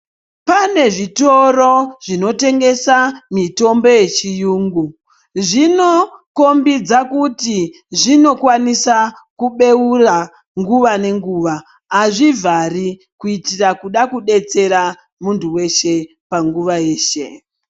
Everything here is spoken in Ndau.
Pane zvitoro zvinotengesa mitombo yechiyungu zvinokombidza kuti zvinokwanisa kubeura nguva nenguva azvivhari kuitira kuda kudetsera muntu weshe panguva yeshe.